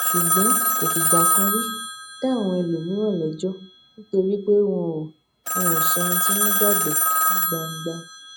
ṣùgbọn kò fìgbà kan rí dá àwọn ẹlòmíràn léjó nítorí pé wọn ò wọn ò sọ ohun tí wón gbàgbó ní gbangba